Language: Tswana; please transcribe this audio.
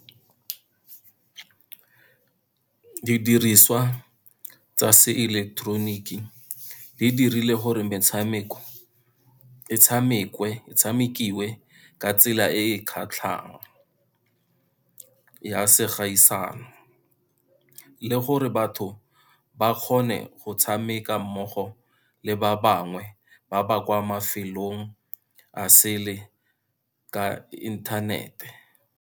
Didiriswa tsa seileketeroniki di dirile gore metshameko e tshamekiwe ka tsela e e kgatlhang, ya se gaisano. Le gore batho ba kgone go tshameka mmogo le ba bangwe, ba ba kwa mafelong a sele ka inthanete.